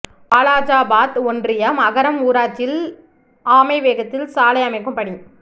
வாலாஜாபாத் ஒன்றியம் அகரம் ஊராட்சியில் ஆமை வேகத்தில் சாலை அமைக்கும் பணி